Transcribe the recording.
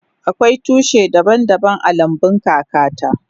Akwai tushi daban daban a lambun kaka ta.